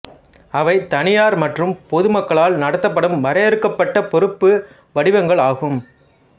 அவை தனியார் மற்றும் பொதுமக்களால் நடத்தப்படும் வரையறுக்கப்பட்ட பொறுப்பு வடிவங்கள் ஆகும்